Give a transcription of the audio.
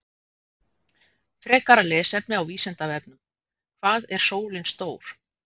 Frekara lesefni á Vísindavefnum: Hvað er sólin stór?